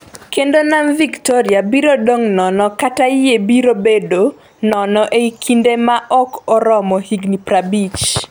kendo Nam Victoria biro dong' nono kata yie biro bedo nono ei kinde ma ok oromo higni 50."